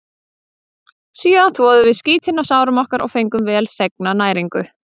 Síðan þvoðum við skítinn af sárum okkar og fengum velþegna næringu.